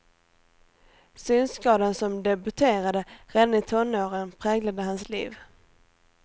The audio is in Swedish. Synskadan som debuterade redan i tonåren präglade hans liv.